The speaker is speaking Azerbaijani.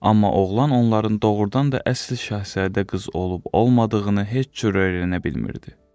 Amma oğlan onların doğurdan da əsl Şahzadə qız olub-olmadığını heç cür öyrənə bilmirdi.